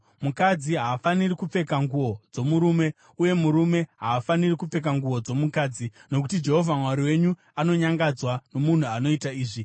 Mukadzi haafaniri kupfeka nguo dzomurume, uye murume haafaniri kupfeka nguo dzomukadzi, nokuti Jehovha Mwari wenyu anonyangadzwa nomunhu anoita izvi.